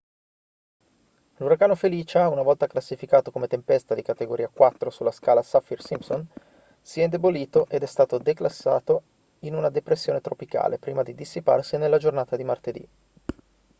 l'uragano felicia una volta classificato come tempesta di categoria 4 sulla scala saffir-simpson si è indebolito ed è stato declassato in una depressione tropicale prima di dissiparsi nella giornata di martedì